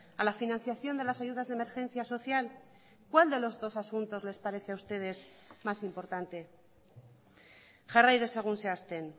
a la financiación de las ayudas de emergencia social cuál de los dos asuntos les parece a ustedes más importante jarrai dezagun zehazten